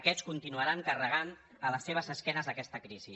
aquests continuaran carregant a les seves esquenes aquesta crisi